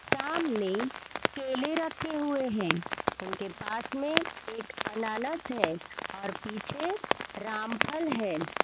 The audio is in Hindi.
सामने केले रखे हुए है उनके पास में एक अनानास है और पीछे रामफल है।